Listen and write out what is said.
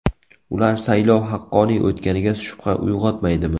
Ular saylov haqqoniy o‘tganiga shubha uyg‘otmaydimi?